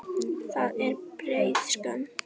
Það er breið spönn.